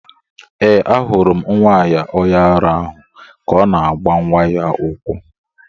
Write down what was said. Ee, ahụrụ m nwanyị onye ara ahụ ka ọ na-agba nwa ya ụkwụ.